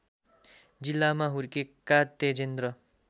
जिल्लामा हुर्केका तेजेन्द्र